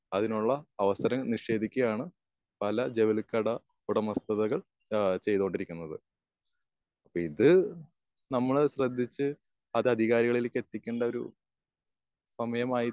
അതിനുള്ള അവസരം നിഷേധിക്കുകയാണ് പല ജൗളി കട ഉടമസ്ഥതകൾ ഏഹ് ചെയ്ത് കൊണ്ടിരിക്കുന്നത്. ഇത് നമ്മള് ശ്രദ്ധിച്ച് അത് അധികാരികളിലേക്ക് എത്തിക്കേണ്ട ഒരു സമയമായി